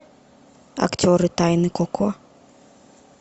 актеры тайны коко